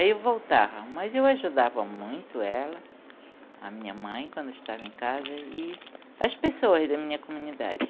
Aí eu voltava, mas eu ajudava muito ela, a minha mãe quando eu estava em casa e as pessoas da minha comunidade.